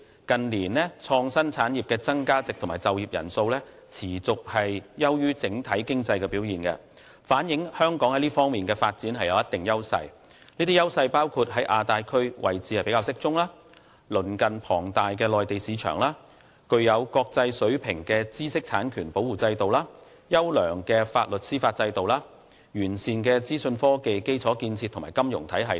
近年創新產業的增長值和就業人數的增長均持續優於整體經濟表現，反映香港在這方面的發展具有一定優勢，包括在亞太區位置比較適中、鄰近龐大的內地市場、具國際水平的知識產權保護制度、優良的法律和司法制度，以及完善的資訊科技基礎建設和金融體系等。